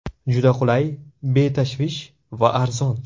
Juda qulay, betashvish va arzon.